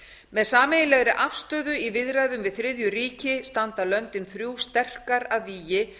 með sameiginlegri afstöðu í viðræðum við þriðju ríki standa löndin þrjú sterkar að vígi